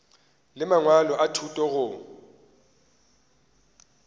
le mangwalo a thuto go